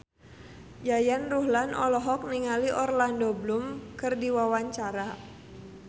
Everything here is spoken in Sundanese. Yayan Ruhlan olohok ningali Orlando Bloom keur diwawancara